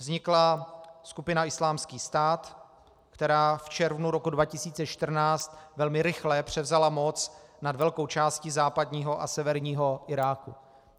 Vznikla skupina Islámský stát, která v červnu roku 2014 velmi rychle převzala moc nad velkou částí západního a severního Iráku.